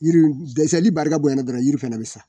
Yiri nu dɛsɛli barika bonya na dɔrɔn yiri fɛnɛ bɛ sa.